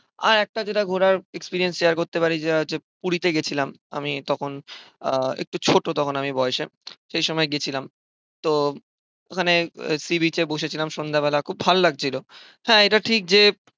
আর একটা যেটা ঘোরার experience share করতে পারি, যেটা হচ্ছে পুরীতে গিয়েছিলাম। আমি তখন আহ একটু ছোট তখন আমি বয়সে সেই সময়ে গেছিলাম। তো ওখানে sea beach এ বসে ছিলাম সন্ধ্যেবেলায় খুব ভাল লাগছিল। হ্যাঁ এটা ঠিক যে,